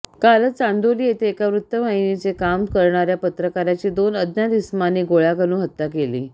कालच चांदौली येथे एका वृत्तवाहिनीचे काम करणार्या पत्रकाराची दोघा अज्ञात इसमांनी गोळ्या घालून हत्या केली